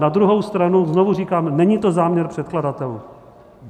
Na druhou stranu znovu říkám, není to záměr předkladatelů.